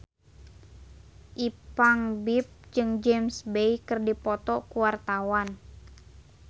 Ipank BIP jeung James Bay keur dipoto ku wartawan